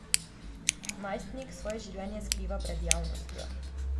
Najstnik svoje življenje skriva pred javnostjo.